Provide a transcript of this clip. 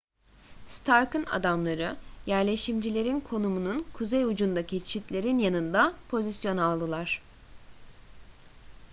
stark'ın adamları yerleşimcilerin konumunun kuzey ucundaki çitlerin yanında pozisyon aldılar